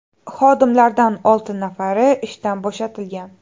Xodimlardan olti nafari ishdan bo‘shatilgan.